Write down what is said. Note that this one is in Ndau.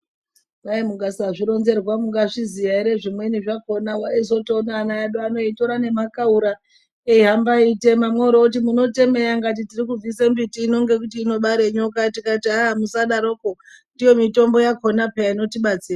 Kwai mukasazvironzerwa mungazviziya here zvimweni zvakona waizotoona ana edu ano eitora nemakaura eihamba eitema mworooti munotemei akati tiri kubvisa mumbiti ino ngekuti inobara nyoka haa musadaroko ndiyo mitombo yakona peya inotibatsira.